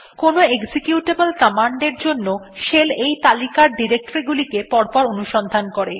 কোনো executable command এর জন্য শেল এই তালিকার ডিরেক্টরী গুলিকে পরপর অনুসন্ধান করে